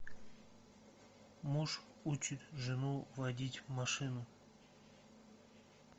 муж учит жену водить машину